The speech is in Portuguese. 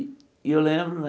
E eu lembro né...